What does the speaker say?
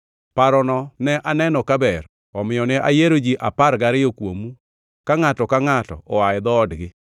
Parono ne aneno kaber omiyo ne ayiero ji apar gariyo kuomu ka ngʼato ka ngʼato oa e dhoodgi.